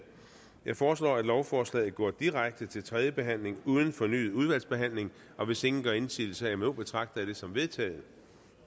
jeg foreslår at lovforslaget går direkte til tredje behandling uden fornyet udvalgsbehandling og hvis ingen gør indsigelse herimod betragter jeg det som vedtaget